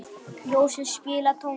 Jósef, spilaðu tónlist.